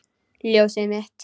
Ljósið mitt.